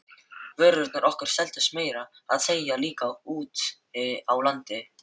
Vörurnar okkar seldust meira að segja líka úti á landi.